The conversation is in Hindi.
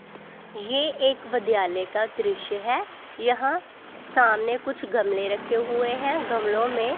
ये एक विद्यालय का दृश्य है यहां सामने कुछ गमले रखे हुए हैं गमलों में--